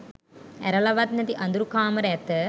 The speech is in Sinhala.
ඇරලා වත් නැති අඳුරු කාමර ඇත.